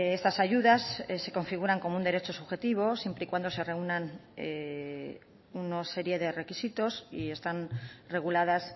estas ayudas se configuran como un derecho subjetivo siempre y cuando se reúnan una serie de requisitos y están reguladas